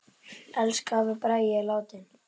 Elsku afi Bragi er látinn.